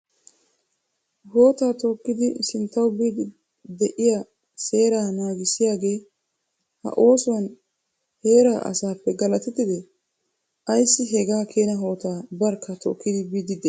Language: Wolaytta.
Hootta tookidi sinttaw simmidi biidi de'iya seera naagissiyaage, ha oosuwan heeraa asappe galatettide? Ayssi hagakeena hootta barkka tookidi biidi de'ii?